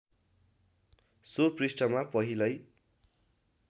so पृष्ठमा पहिलै